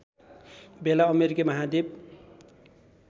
बेला अमेरिकी महाद्वीप